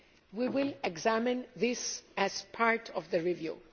We will examine this as part of the review.